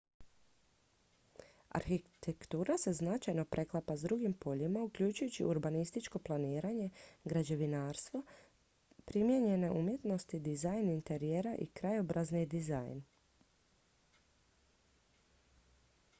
arhitektura se značajno preklapa s drugim poljima uključujući urbanističko planiranje građevinarstvo primijenjene umjetnosti dizajn interijera i krajobrazni dizajn